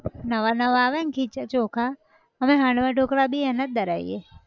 નવા નવા આવે ન ખીચ ચોખા અમે હાંડવા ઢોકળાં બી એના જ દરાઈએ